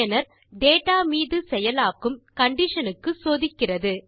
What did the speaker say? பயனர் டேட்டா மீது செயலாக்கும் கண்டிஷன் க்கு சோதிக்கிறது